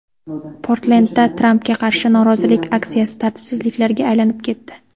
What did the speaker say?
Portlendda Trampga qarshi norozilik aksiyasi tartibsizliklarga aylanib ketdi.